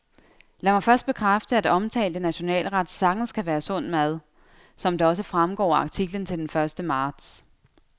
Lad mig først bekræfte, at omtalte nationalret sagtens kan være sund mad, som det også fremgår af artiklen den første marts.